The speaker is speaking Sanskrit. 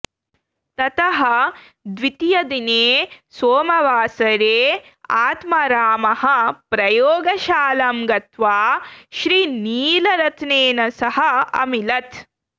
ततः द्वितीयदिने सोमवासरे आत्मारामः प्रयोगशालां गत्वा श्रीनीलरत्नेन सह अमिलत्